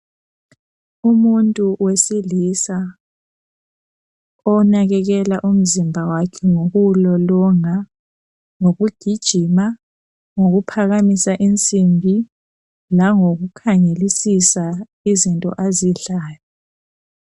Umuntu wesilisa onakekela umzimba wakhe ngokuwulolonga, ngokugijima, ngokuphakamisa insimbi langoku khangelisisa izinto azidlayo.